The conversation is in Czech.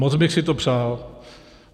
Moc bych si to přál.